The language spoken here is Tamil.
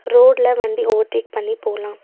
ரோட்ல வண்டி ஓவர் டேக் பண்ணி போலாம்.